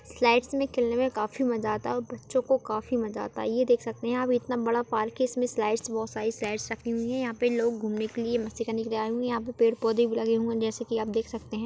Slides में खेलने में काफी मजा आता है और बच्चो को काफी मजा आता है ये देख सकते है आप इतना बड़ा पार्क है इसमें स्लाइड्स बहुत सारी स्लाइड्स रखी हुई है यहाँ पे लोग घूमने के लिए मस्ती करने के लिए आये हुए है यहाँ पे पेड़-पौधे भी लगे है जैसे की आप देख सकते है।